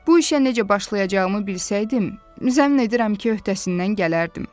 Bu işə necə başlayacağımı bilsəydim, zəmin edirəm ki, öhdəsindən gələrdim.